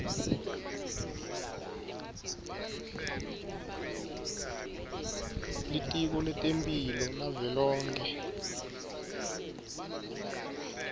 litiko letemphilo lavelonkhe